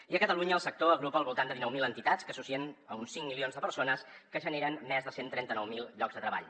i a catalunya el sector agrupa al voltant de dinou mil entitats que associen uns cinc milions de persones que generen més de cent i trenta nou mil llocs de treball